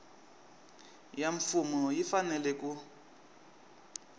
ya mfumo yi fanele ku